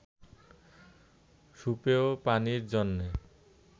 সুপেয় পানির জন্য